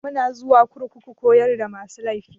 Muna zuwa kurkuku koyar da masu laifi.